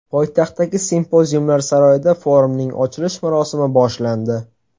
Poytaxtdagi Simpoziumlar saroyida forumning ochilish marosimi boshlandi.